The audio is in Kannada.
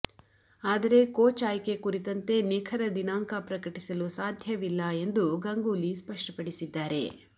ಆದರೆ ಕೋಚ್ ಆಯ್ಕೆ ಕುರಿತಂತೆ ನಿಖರ ದಿನಾಂಕ ಪ್ರಕಟಿಸಲು ಸಾಧ್ಯವಿಲ್ಲ ಎಂದೂ ಗಂಗೂಲಿ ಸ್ಪಷ್ಟಪಡಿಸಿದ್ದಾರೆ